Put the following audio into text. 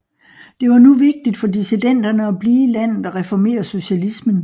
Det var nu vigtigt for dissidenterne at blive i landet og reformere socialismen